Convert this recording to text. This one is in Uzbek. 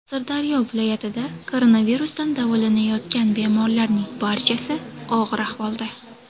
Sirdaryo viloyatida koronavirusdan davolanayotgan bemorlarning barchasi og‘ir ahvolda.